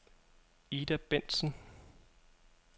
Ida Bendtsen